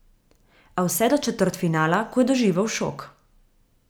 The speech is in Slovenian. A vse do četrtfinala, ko je doživel šok.